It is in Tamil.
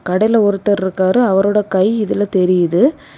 கடையில ஒருத்தர் இருக்காரு அவருடைய கை இதுல தெரியுது.